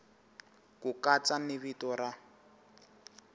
ku katsa ni vito ra